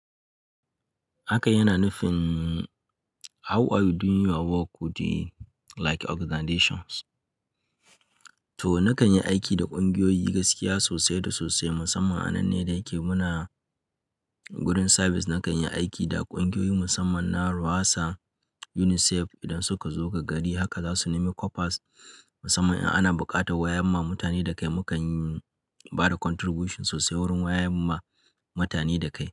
Hakan yana nufin how are you doing your work with the like organizations? To na kan yi aiki da ƙungiyoyi gaskiya sosai da sosai musamman a nan ne da yake muna gurin service. Na kan yi aiki da ƙungiyoyi musamman na RWASA, UNICEF idan suka zo ga gari haka za su nemi kopas musamman in ana buƙatar wayar ma mutane da kai. Mu kan ba da contribution sosai wurin wayar ma mutane da kai.